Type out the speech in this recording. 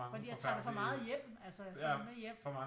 Fordi jeg tager det for meget hjem altså jeg tager dem med hjem